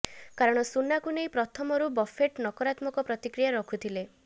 କାରଣ ସୁନାକୁ ନେଇ ପ୍ରଥମରୁ ବଫେଟ ନକରାତ୍ମକ ପ୍ରତିକ୍ରିୟା ରଖୁଥିଲେ